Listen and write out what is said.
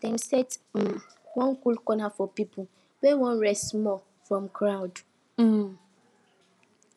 dem set um one cool corner for people wey wan rest small from crowd um